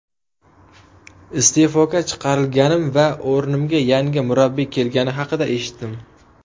Iste’foga chiqarilganim va o‘rnimga yangi murabbiy kelgani haqida eshitdim.